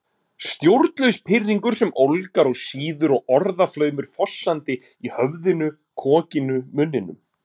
Stjórnlaus pirringur sem ólgar og sýður og orðaflaumur fossandi í höfðinu, kokinu, munninum